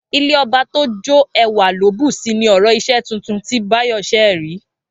Ilé ọba tó jó ẹwà ló bùsi ni ọ̀rọ̀ iṣẹ́ tuntun tí Báyọ̀ ṣẹ̀ rí